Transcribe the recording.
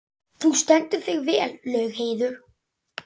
Þú stendur þig vel, Laugheiður!